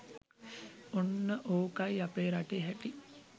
ඔන්න ඕ‍කයි අපේ රටේ හැටි